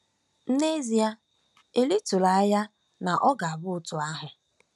Nezie eli tụrụ anya na ọ ga-abụ otu ahụ!